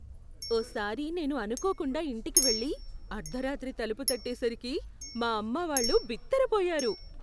ఓసారి నేను అనుకోకుండా ఇంటికి వెళ్ళి, అర్ధరాత్రి తలుపు తట్టేసరికి మా అమ్మావాళ్ళు బిత్తరపోయారు.